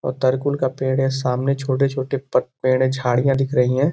और तरकुल का पेड़ है। सामने छोटे-छोटे प पेड़ हैं। झाड़ियाँ दिख रही हैं।